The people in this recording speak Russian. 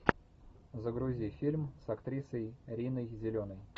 загрузи фильм с актрисой риной зеленой